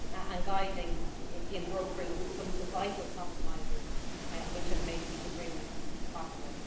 and guiding the brokering of some of the vital compromises which have made these agreements possible.